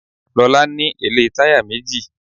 Lọ́la ní èlé táyà méjì.